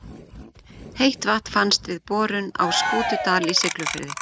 Heitt vatn fannst við borun á Skútudal í Siglufirði.